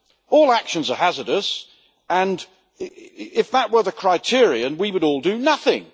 All actions are hazardous, and if that were the criterion we would all do nothing.